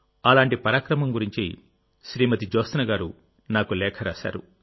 అలాంటి పరాక్రమం గురించి శ్రీమతి జ్యోత్స్నగారు నాకు లేఖ రాశారు